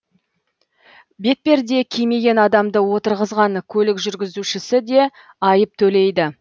бетперде кимеген адамды отырғызған көлік жүргізушісі де айып төлейді